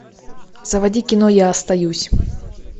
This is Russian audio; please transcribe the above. заводи кино я остаюсь